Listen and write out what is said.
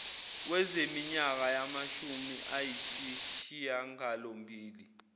zeminyaka yamashumi ayisishiyangalombili